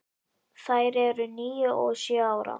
Þær eru níu og sjö ára.